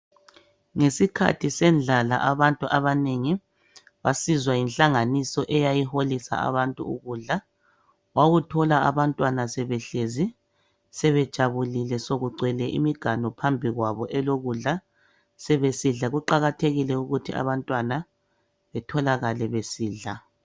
Ngesikhathi sendlala abantu abanengi basizwa yinhlanganiso eyayiholisa abantu ukudla. Wawuthola abantwana behlezi sebejabulile sokugcwele iminganu phambi kwabo elokudla abantwana. Sebesidla kumele betholakale besidla.